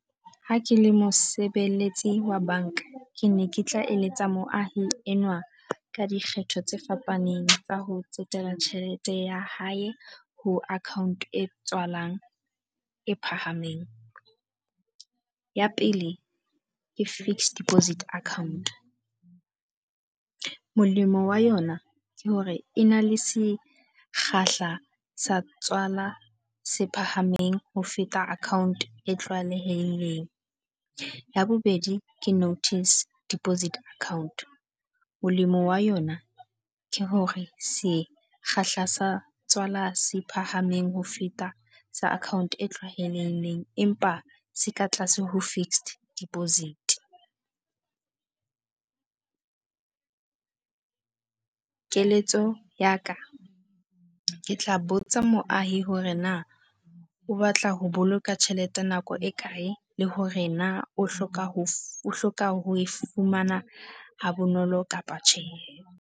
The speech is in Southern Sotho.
Ha ke le mosebeletsi wa banka, ke ne ke tla eletsa moahi enwa ka dikgetho tse fapaneng tsa ho tsetela tjhelete ya hae ho account e tswalang e phahameng. Ya pele ke fixed deposit account. Molemo wa yona ke hore e na le sekgahla sa tswala se phahameng ho feta account e tlwaelehileng. Ya bobedi ke notice deposit account. Molemo wa yona ke hore sekgahla sa tswala se phahameng ho feta sa account e tlwaelehileng empa se ka tlase ho fixed deposit. Keletso ya ka, ke tla botsa moahi hore na o batla ho boloka tjhelete nako e kae le hore na o hloka ho o hloka ho e fumana ha bonolo kapa tjhe.